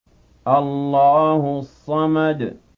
اللَّهُ الصَّمَدُ